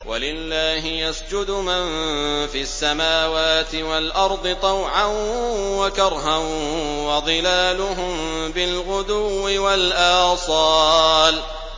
وَلِلَّهِ يَسْجُدُ مَن فِي السَّمَاوَاتِ وَالْأَرْضِ طَوْعًا وَكَرْهًا وَظِلَالُهُم بِالْغُدُوِّ وَالْآصَالِ ۩